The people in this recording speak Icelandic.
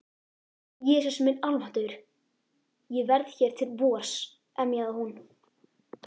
Jesús minn almáttugur, ég verð hér til vors. emjaði hún.